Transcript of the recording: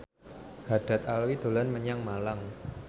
Haddad Alwi dolan menyang Malang